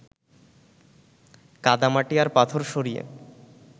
কাদা-মাটি আর পাথর সরিয়ে